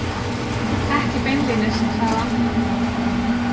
Ekki beinlínis, sagði hann.